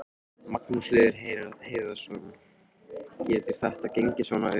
Magnús Hlynur Hreiðarsson: Getur þetta gengið upp svona?